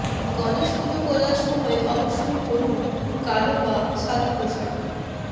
গণেশ পুজো করার সময় অবশ্যই পরুন কালো বা সাদা পোশাক